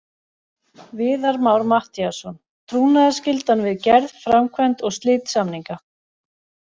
Viðar Már Matthíasson: Trúnaðarskyldan við gerð, framkvæmd og slit samninga.